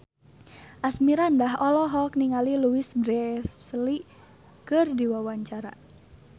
Asmirandah olohok ningali Louise Brealey keur diwawancara